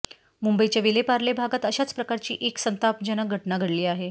मुंबईच्या विलेपार्ले भागात अशाच प्रकारची एक संतापजनक घटना घडली आहे